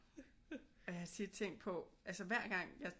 Og jeg har tit tænkt på altså hver gang jeg